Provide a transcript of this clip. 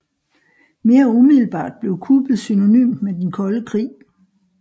Mere umiddelbart blev kuppet synonymt med den kolde krig